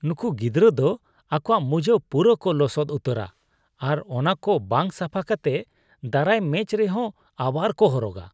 ᱱᱩᱝᱠᱩ ᱜᱤᱫᱨᱟᱹ ᱫᱚ ᱟᱠᱚᱣᱟᱜ ᱢᱳᱡᱟ ᱯᱩᱨᱟᱹ ᱠᱚ ᱞᱚᱥᱚᱫ ᱩᱛᱟᱹᱨᱟ ᱟᱨ ᱚᱱᱟᱠᱚ ᱵᱟᱝ ᱥᱟᱯᱷᱟ ᱠᱟᱛᱮᱫ ᱫᱟᱨᱟᱭ ᱢᱮᱪ ᱨᱮᱦᱚ ᱟᱵᱟᱨ ᱠᱚ ᱦᱚᱨᱚᱜᱼᱟ ᱾